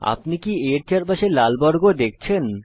আপনি কি a এর চারপাশে লাল বর্গ দেখছেন